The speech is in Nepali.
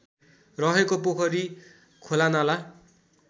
रहेको पोखरी खोलानाला